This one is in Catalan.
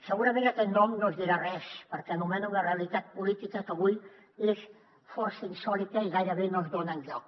segurament aquest nom no us dirà res perquè anomeno una realitat política que avui és força insòlita i gairebé no es dona enlloc